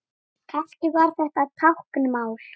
Kannski var þetta táknmál?